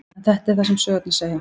En þetta er það sem sögurnar segja.